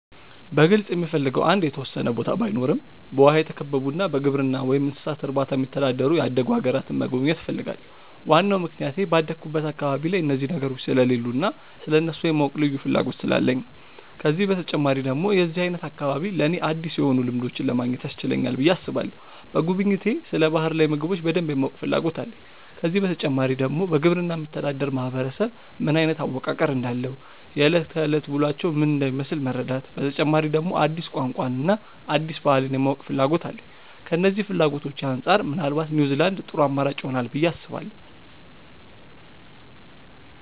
በግልጽ የምፈልገው አንድ የተወሰነ ቦታ ባይኖረም በውሃ የተከበቡና በግብርና ወይም እንስሳት እርባታ የሚተዳደሩ ያደጉ አገራትን መጎብኘት እፈልጋለሁ። ዋናው ምክንያቴ ባደኩበት አካባቢ ላይ እነዚህ ነገሮች ስለሌሉ እና ስለእነሱ የማወቅ ልዩ ፍላጎት ስላለኝ ነው። ከዚህ በተጨማሪ ደግሞ የዚህ አይነት አካባቢ ለኔ አዲስ የሆኑ ልምዶችን ለማግኘት ያስችለናል ብዬ አስባለሁ። በጉብኝቴ ስለ ባህር ላይ ምግቦች በደንብ የማወቅ ፍላጎት አለኝ። ከዚህ በተጨማሪ ደግሞ በግብርና የሚተዳደር ማህበረሰብ ምን አይነት አወቃቀር እንዳለው፣ የእለት ከእለት ውሎአቸው ምን እንደሚመስል መረዳት፤ በተጨማሪ ደግሞ አዲስ ቋንቋን እና አዲስ ባህልን የማወቅና ፍላጎት አለኝ። ከነዚህ ፍላጎቶቼ አንጻር ምናልባት ኒውዝላንድ ጥሩ አማራጭ ይሆናል ብዬ አስባለሁ።